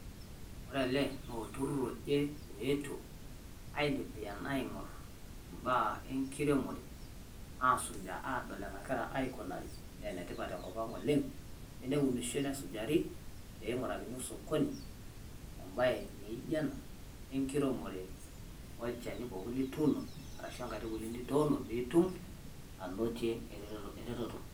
Ore ele naa olturrur oje oetuo aitembeyan aing`orr imbaa e nkiremore aasujaa aadol enagira aikunari. Naa enetipat te nkop ang oleng teneunishoi nesujari pee ing`urakini osokoni embae naijo ena e nkiremore olchani pookin lituuno arashu enkaitubului pookin nituuno pee itum anotie eretoto.